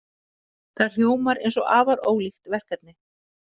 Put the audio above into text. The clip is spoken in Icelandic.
Það hljómar eins og afar ólíkt verkefni.